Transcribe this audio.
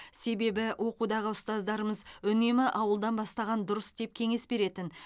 себебі оқудағы ұстаздарымыз үнемі ауылдан бастаған дұрыс деп кеңес беретін